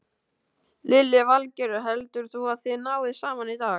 Lillý Valgerður: Heldur þú að þið náið saman í dag?